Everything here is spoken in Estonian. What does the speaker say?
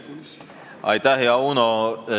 Hea Uno!